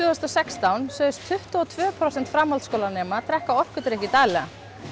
sextán sögðust tuttugu og tvö prósent framhaldsskólanema drekka orkudrykki daglega